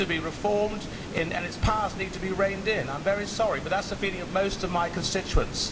It needs to be reformed and its powers need to be reined in. I am very sorry, but that is the feeling of most of my constituents.